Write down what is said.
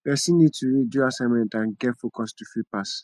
person need to read do assignment and get focus to fit pass